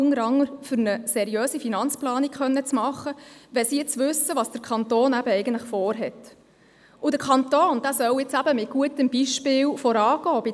Diese Gemeinden sind dankbar, wenn sie nun wissen, was der Kanton eigentlich vorhat – unter anderem, weil es ihnen hilft, eine seriöse Finanzplanung machen zu können.